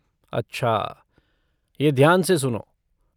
अच्छा ये ध्यान से सुनो।